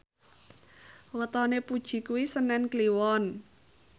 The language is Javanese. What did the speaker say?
wetone Puji kuwi senen Kliwon